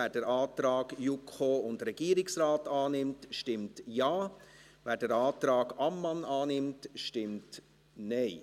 Wer den Antrag JuKo und Regierungsrat annimmt, stimmt Ja, wer den Antrag Ammann annimmt, stimmt Nein.